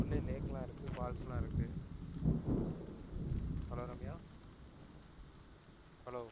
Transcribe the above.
உள்ளயே lake லாம் இருக்கு falls லாம் இருக்கு hello ரம்யா hello